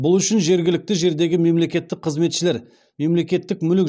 бұл үшін жергілікті жердегі мемлекеттік қызметшілер мемлекеттік мүлік